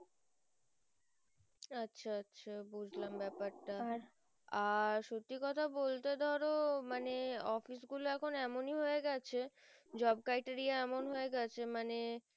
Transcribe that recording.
আচ্ছা আচ্ছা বুঝলাম বেপারটা আর সত্যি কথা বলতে ধরো মানে office গুলো এখুন এমনি হয়ে গেছে job criteria এমনি হয় গেছে মানে